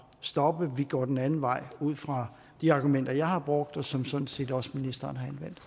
stoppe vi går den anden vej ud fra de argumenter jeg har brugt og som sådan set også ministeren